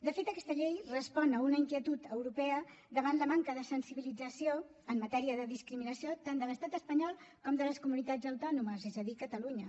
de fet aquesta llei respon a una inquietud europea davant la manca de sensibilització en matèria de discriminació tant de l’estat espanyol com de les comunitats autònomes és a dir catalunya